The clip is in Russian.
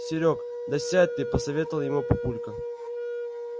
серёг да сядь ты посоветовал ему папулька